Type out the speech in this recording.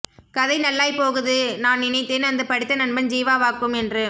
கதை நல்லாய்ப் போகுது நான் நினைத்தேன் அந்த படித்த நண்பன் ஜீவாவாக்கும் என்று